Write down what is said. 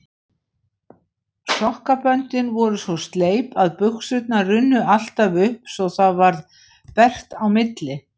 Sokkaböndin voru svo sleip að buxurnar runnu alltaf upp svo það varð bert á milli.